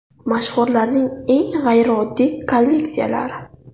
Mashhurlarning eng g‘ayrioddiy kolleksiyalari.